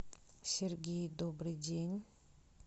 сергей добрый день